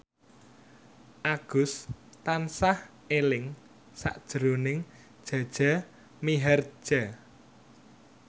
Agus tansah eling sakjroning Jaja Mihardja